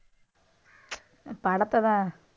படத்தைதான்.